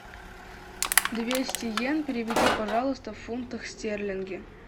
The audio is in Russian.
двести йен переведи пожалуйста в фунты стерлинги